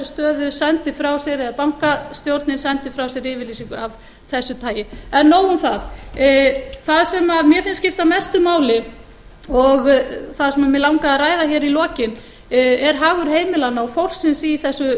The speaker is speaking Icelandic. stöðu eða bankastjórnin sendi frá sér yfirlýsingu af þessu tagi en nóg um það það sem mér finnst skipta mestu máli og það sem mig langar að ræða hér í lokin er hagur heimilanna og fólksins í þessu